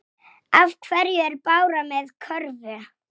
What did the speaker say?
Hefurðu prófað þetta?